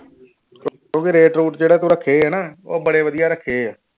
ਕਿਉਂਕਿ rate route ਜਿਹੜੇ ਤੂੰ ਰੱਖੇ ਆ ਨਾ ਉਹ ਬੜੇ ਵਧੀਆ ਰੱਖੇ ਆ।